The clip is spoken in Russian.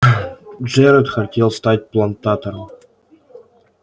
джералд хотел стать плантатором